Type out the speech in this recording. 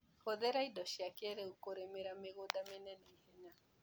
Hũthĩra indo cia kĩrĩu kũrĩmĩra mĩgunda mĩnene ihenya.